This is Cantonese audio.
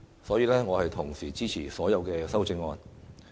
所以，我同時支持所有修正案。